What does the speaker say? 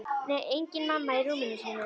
Nei, engin mamma í rúminu sínu.